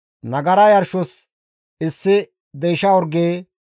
Nagara yarshos issi deysha orge,